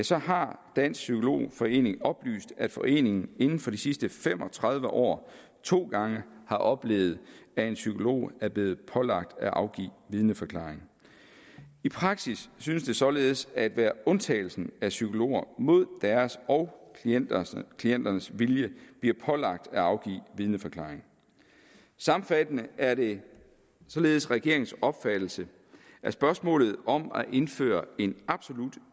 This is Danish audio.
så har dansk psykolog forening oplyst at foreningen inden for de sidste fem og tredive år to gange har oplevet at en psykolog er blevet pålagt at afgive vidneforklaring i praksis synes det således at være undtagelsen at psykologer mod deres og klienternes klienternes vilje bliver pålagt at afgive vidneforklaring sammenfattende er det således regeringens opfattelse at spørgsmålet om at indføre en absolut